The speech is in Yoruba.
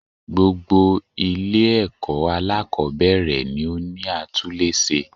Gbogbo Ilé èkó alákòbéèrè ni ó ní atúlése